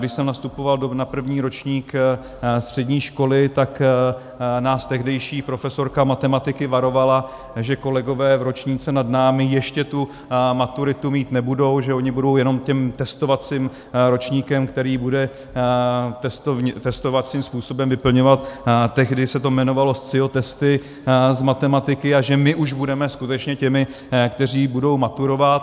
Když jsem nastupoval na první ročník střední školy, tak nás tehdejší profesorka matematiky varovala, že kolegové v ročníku nad námi ještě tu maturitu mít nebudou, že oni budou jenom tím testovacím ročníkem, který bude testovacím způsobem vyplňovat - tehdy se to jmenovalo Scio testy z matematiky, a že my už budeme skutečně těmi, kteří budou maturovat.